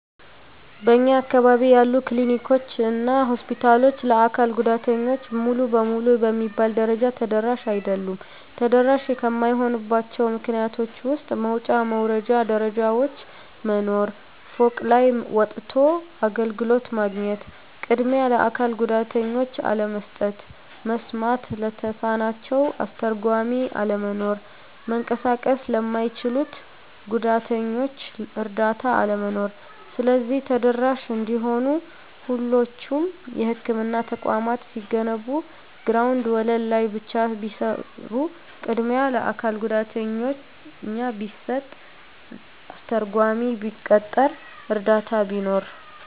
በእኛ አካባቢ ያሉ ክሊኒኮች እና ሆስፒታሎች ለአካል ጉዳተኞች ሙሉ በሙሉ በሚባል ደረጃ ተደራሽ አይደሉም። ተደራሽ ከማይሆኑባቸው ምክንያቶች ውስጥ መውጫ መውረጃ ደረጃዎች መኖር፤ ፎቅ ላይ ወጥቶ አገልግሎት ማግኘት፤ ቅድሚያ ለአካል ጉዳተኞች አለመስጠት፤ መስማት ለተሳናቸው አስተርጓሚ አለመኖር፤ መንቀሳቀስ ለማይችሉት ጉዳተኞች እረዳት አለመኖር። ስለዚህ ተደራሽ እንዲሆኑ ሁሎቹም የህክምና ተቋማት ሲገነቡ ግራውንድ ወለል ላይ ብቻ ቢሰሩ፤ ቅድሚያ ለአካል ጉዳተኛ ቢሰጥ፤ አስተርጓሚ ቢቀጠር፤ እረዳት ቢኖር።